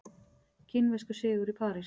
Kínverskur sigur í París